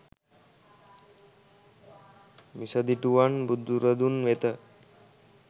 මිසදිටුවන් බුදුරදුන් වෙත